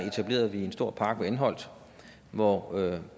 etablerede vi en stor park ved anholt hvor